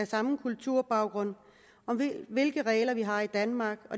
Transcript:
samme kulturbaggrund om hvilke regler vi har i danmark